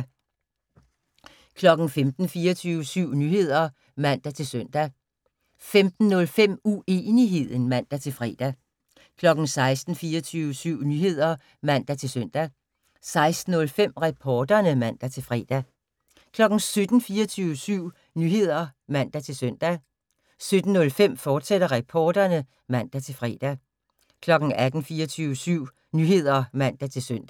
15:00: 24syv Nyheder (man-søn) 15:05: Uenigheden (man-fre) 16:00: 24syv Nyheder (man-søn) 16:05: Reporterne (man-fre) 17:00: 24syv Nyheder (man-søn) 17:05: Reporterne, fortsat (man-fre) 18:00: 24syv Nyheder (man-søn)